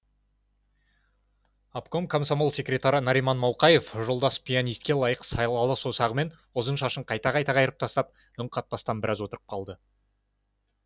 обком комсомол секретары нариман мауқаев жолдас пианистке лайық салалы саусағымен ұзын шашын қайта қайта қайырып тастап үн қатпастан біраз отырып қалды